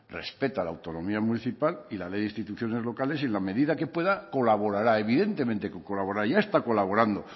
respeta la autonomía municipal y la ley de instituciones locales y en la medida que pueda colaborará evidentemente que colaborará ya está colaborando